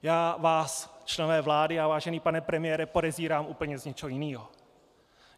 Já vás, členové vlády a vážený pane premiére, podezírám úplně z něčeho jiného.